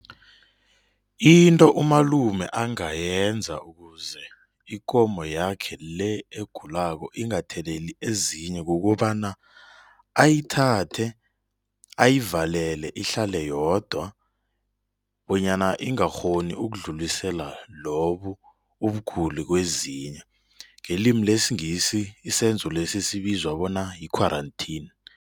Into umalume angayenza ukuze ikomo yakhe-le egulako ingatheleli ezinye kukobana ayithathe, ayivalele, ihlale yodwa bonyana ingakghoni ukudlulisela lobu ubuguli kwezinye ngelimi lesingisi isenzolesi esibizwa bona yi-quarantine.